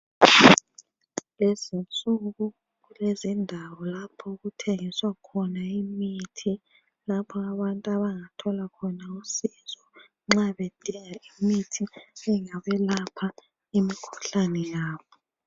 kulezinsuku kulezindawo lapho okuthengiswa khona imithi lapha abantu abangathola khona usizo nxa bedinga imithi engabelapha imikhuhlane yabo.